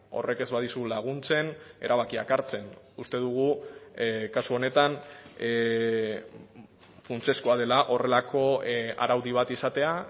horrek ez badizu laguntzen erabakiak hartzen uste dugu kasu honetan funtsezkoa dela horrelako araudi bat izatea